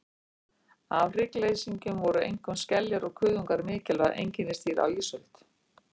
Af hryggleysingjum voru einkum skeljar og kuðungar mikilvæg einkennisdýr á ísöld.